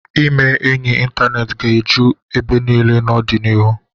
Ime ọyị ịntaneetị ga-eju ebe niile n'ọdịnihu.